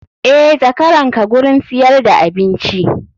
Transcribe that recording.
Eh zakaranka gurin siyar da abinci.